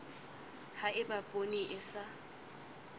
ha eba poone e sa